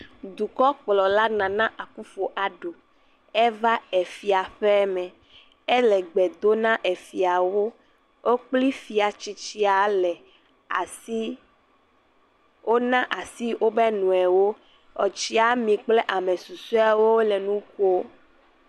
Dukɔkplɔla Nana Akufu Addo eva Efiaƒeme. Ele gbe dom na Efiawo. Wo kple Fia tsitsia le asiii, wona asi wobe nɔewo. Otsiami kple ame susueawo le nu ƒo.